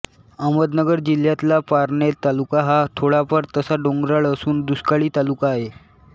अहमदनगर जिल्ह्यातला पारनेर तालुका हा थोडाफार तसा डोंगराळ असून दुष्काळी तालुका आहे